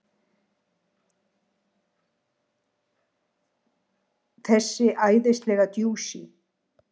Þessi æðislega djúsí!